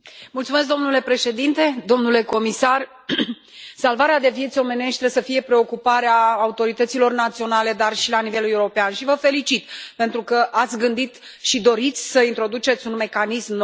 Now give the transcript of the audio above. Domnule președinte, domnule comisar, salvarea de vieți omenești trebuie să fie preocuparea autorităților naționale, dar și a celor de la nivel european și vă felicit pentru că ați gândit și doriți să introduceți un mecanism nou.